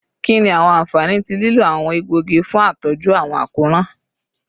Kini awọn anfani ti lilo awọn egboogi fun atọju awọn akoran?